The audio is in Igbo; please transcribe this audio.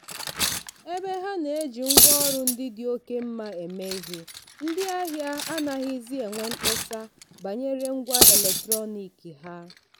ebe ha na-eji ngwaọrụ ndị dị oke mma eme ihe ndị ahịa anaghịzi enwe mkpesa banyere ngwa eletrọnịkị ha.